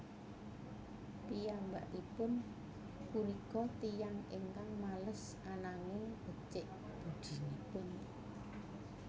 Piyambakipun punika tiyang ingkang males ananging becik budinipun